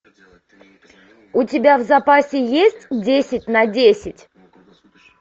у тебя в запасе есть десять на десять